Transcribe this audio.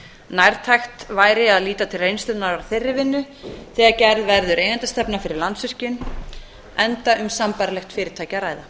nærtækt væri að líta til reynslunnar af þeirri vinnu þegar gerð verður eigendastefna fyrir landsvirkjun enda